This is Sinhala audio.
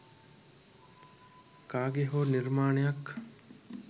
කාගේ හෝ නිර්මාණයක්